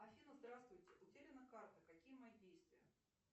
афина здравствуйте утеряна карта какие мои действия